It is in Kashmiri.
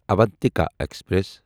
اوانتِکا ایکسپریس